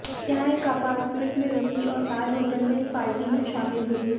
यहां एक अपार्टमेंट में रुकीं और ताज होटल में एक पार्टी में शामिल हुईं